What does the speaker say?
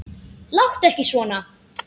Láttu ekki svona!